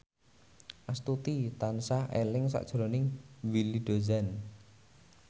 Astuti tansah eling sakjroning Willy Dozan